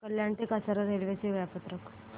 कल्याण ते कसारा रेल्वे चे वेळापत्रक